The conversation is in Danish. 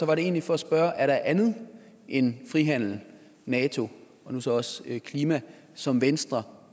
var det egentlig for at spørge er der andet end frihandel nato og nu så også klima som venstre